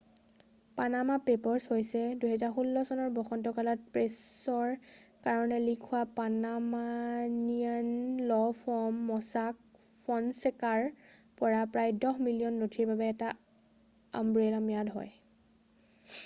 """Panama papers" হৈছে ২০১৬ চনৰ বসন্তকালত প্ৰেছৰ কাৰণে লীক হোৱা Panamanian law firm Mossack Fonseca পৰা প্ৰায় দহ মিলিয়ন নথিৰৰ বাবে এটা আমব্ৰেলা ম্যাদ হয়।""